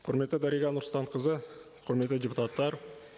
құрметті дариға нұрсұлтанқызы құрметті депутаттар